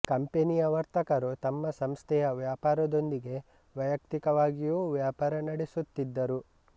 ಕಂಪನಿಯ ವರ್ತಕರು ತಮ್ಮ ಸಂಸ್ಥೆಯ ವ್ಯಾಪಾರದೊಂದಿಗೆ ವೈಯಕ್ತಿಕವಾಗಿಯೂ ವ್ಯಾಪಾರ ನಡೆಸುತ್ತಿದ್ದರು